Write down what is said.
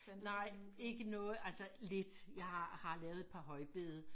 Nej ikke noget altså lidt jeg har lavet et par højbede